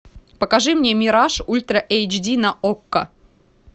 покажи мне мираж ультра эйч ди на окко